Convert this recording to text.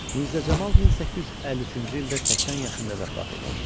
Mirzə Camal 1853-cü ildə 80 yaşında vəfat etmişdi.